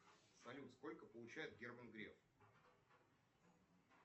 салют сколько получает герман греф